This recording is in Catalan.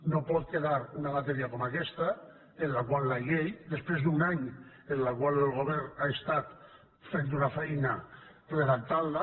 no pot quedar una matèria com aquesta en la qual la llei després d’un any en el qual el govern ha estat fent una feina redactant la